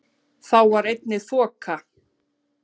Þá var einnig þoka